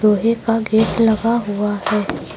लोहे का गेट लगा हुआ है।